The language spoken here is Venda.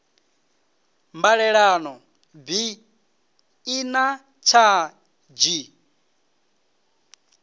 mbalelano bi i na tshadzhi